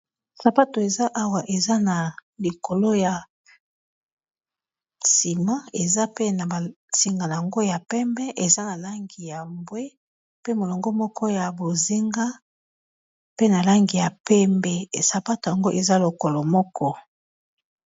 Sapato eza awa eza na likolo ya nsima eza pe na ba singa nango ya pembe, eza na langi ya mbwe, pe molongo moko ya bozinga, pe na langi ya pembe, sapato yango eza lokolo moko.